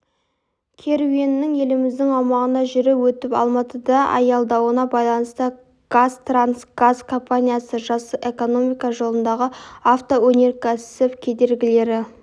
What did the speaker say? керуенінің еліміздің аумағынан жүріп өтіп алматыда аялдауына байланысты қазтрансгаз компаниясы жасыл экономика жолындағы автоөнеркәсіп кедергілері